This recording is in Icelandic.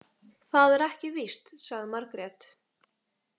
Það er ekki víst, sagði Margrét.